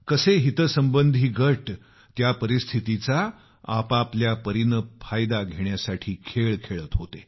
कसे हितसंबंधी गट त्या परिस्थितीचा आपापल्या परीनं फायदा घेण्यासाठी खेळ खेळत होते